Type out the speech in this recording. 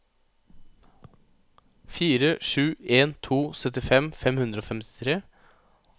fire sju en to syttifem fem hundre og femtitre